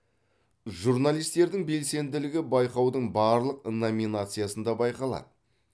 журналистердің белсенділігі байқаудың барлық номинациясында байқалады